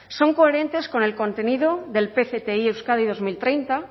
son coherentes con el contenido del pcti euskadi dos mil treinta